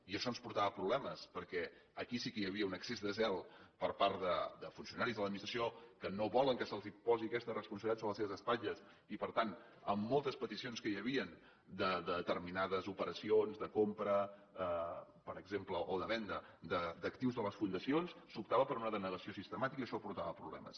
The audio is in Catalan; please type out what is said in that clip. i això ens portava problemes perquè aquí sí que hi havia un excés de zel per part de funcionaris de l’administració que no volen que se’ls posi aquesta responsabilitat sobre les seves espatlles i per tant amb moltes peticions que hi havien de determinades operacions de compra per exemple o de venda d’actius a les fundacions s’optava per una denegació sistemàtica i això portava problemes